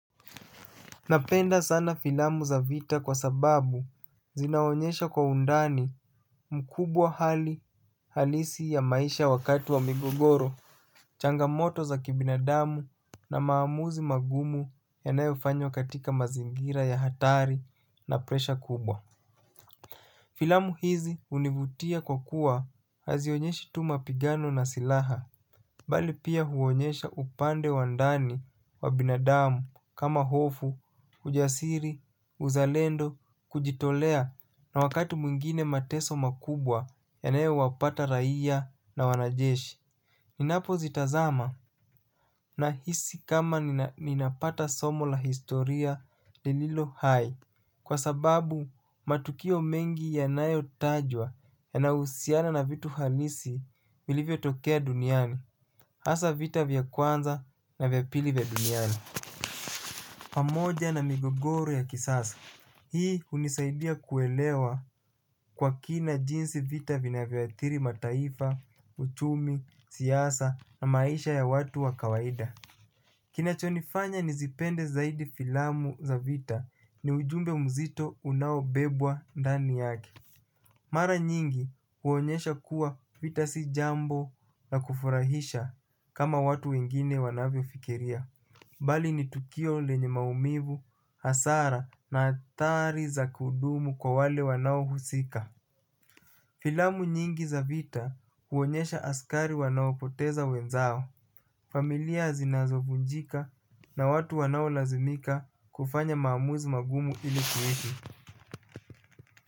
Napenda sana filamu za vita kwa sababu zinaonyesha kwa undani mkubwa hali halisi ya maisha wakati wa migogoro, changamoto za kibinadamu na maamuzi magumu yanayofanywa katika mazingira ya hatari na presha kubwa. Filamu hizi hunivutia kwa kuwa hazionyeshi tu mapigano na silaha. Bali pia huonyesha upande wa ndani wa binadamu kama hofu, ujasiri, uzalendo, kujitolea na wakati mwingine mateso makubwa yanayo wapata raia na wanajeshi. Ninapo zitazama, nahisi kama ninapata somo la historia lililohai kwa sababu. Matukio mengi yanayotajwa yanahusiana na vitu halisi vilivyotokea duniani. Asa vita vya kwanza na vya pili vya duniani. Pamoja na migogoro ya kisasa. Hii hunisaidia kuelewa kwa kina jinsi vita vinavyoathiri mataifa, uchumi, siasa na maisha ya watu wa kawaida. Kinachonifanya nizipende zaidi filamu za vita, ni ujumbe mzito unaobebwa ndani yake. Mara nyingi huonyesha kuwa vita si jambo la kufurahisha kama watu wengine wanavyofikiria. Bali ni tukio lenye maumivu, hasara na athari za kudumu kwa wale wanaohusika. Filamu nyingi za vita huonyesha askari wanaopoteza wenzao. Familia zinazovunjika na watu wanao lazimika kufanya maamuzi magumu ilikuishi.